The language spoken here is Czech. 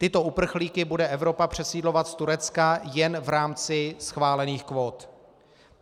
Tyto uprchlíky bude Evropa přesídlovat z Turecka jen v rámci schválených kvót.